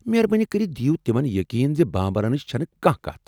مہربٲنی کٔرتھ دِیو تمن یقین زِ بامبرنٕچ چھنہٕ کانٛہہ كتھ ۔